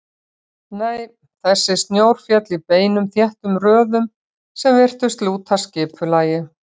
Nei, þessi snjór féll í beinum þéttum röðum sem virtust lúta skipulagi.